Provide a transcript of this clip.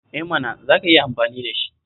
Eh mana, za ka iya amfani da shi!